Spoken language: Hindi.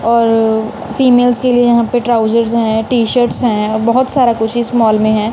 और फीमेल्स के लिए यहां पे ट्राउजर है टी शर्ट हैं बहोत सारा कुछ इस मॉल में है।